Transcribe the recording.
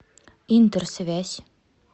интерсвязь